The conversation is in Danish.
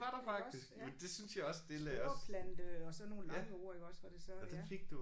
Iggås ja. Sporeplante og sådan nogle lange ord iggås hvor det så ja